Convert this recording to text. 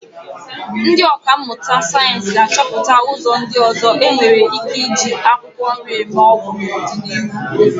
Ndị ọkà mmụta sayensị ga-achọpụta ụzọ ndị ọzọ e nwere ike eji akwụkwọ nri eme ọgwụ n'ọdịnihu.